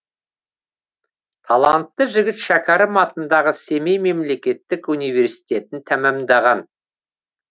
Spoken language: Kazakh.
талантты жігіт шәкәрім атындағы семей мемлекеттік университетін тәмамдаған